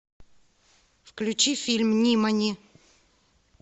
включи фильм нимани